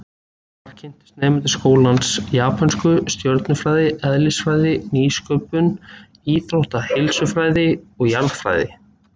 Þar kynntust nemendur skólans japönsku, stjörnufræði, eðlisfræði, nýsköpun, íþrótta- og heilsufræði og jarðfræði.